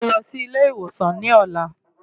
Mo máa lọ sí ilé ìwòsàn ní ọ̀la.